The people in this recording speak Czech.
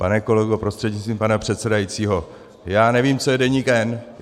Pane kolego prostřednictvím pana předsedajícího, já nevím, co je Deník N.